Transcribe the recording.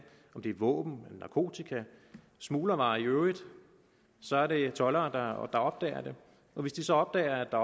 om det er våben narkotika smuglervarer i øvrigt så er det toldere der opdager det og hvis de så opdager at der